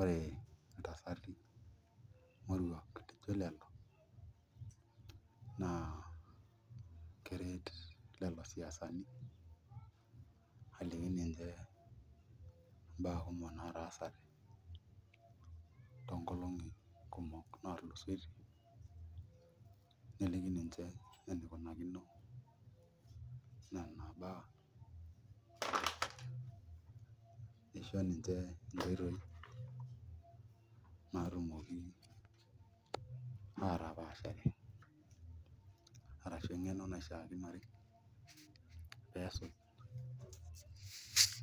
Ore ntasati moruak lijio lelo naa keret lelo siasani aliki ninche mbaa kumok natasate toonkolong'i kumok naatasate neliki ninche enikunakino nena baa isho ninche nkoitoi naatumoki aatapaashare arashu eng'eno naishiakinore pee esuj